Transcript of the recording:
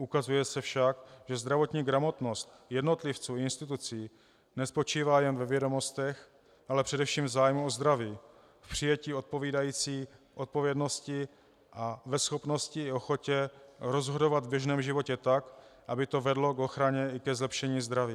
Ukazuje se však, že zdravotní gramotnost jednotlivců a institucí nespočívá jenom ve vědomostech, ale především v zájmu o zdraví, v přijetí odpovídající odpovědnosti a ve schopnosti a ochotě rozhodovat v běžném životě tak, aby to vedlo k ochraně i ke zlepšení zdraví.